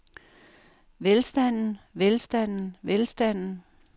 velstanden velstanden velstanden